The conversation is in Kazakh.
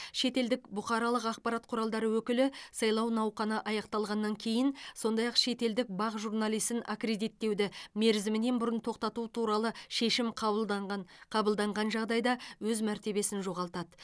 шетелдік бұқаралық ақпарат құралдары өкілі сайлау науқаны аяқталғаннан кейін сондай ақ шетелдік бақ журналисін аккредиттеуді мерзімінен бұрын тоқтату туралы шешім қабылданған қабылданған жағдайда өз мәртебесін жоғалтады